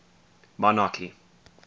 monarchy